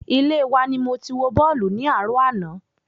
Ilé wa ni mo ti wo bọ́ọ̀lù ní àárò ana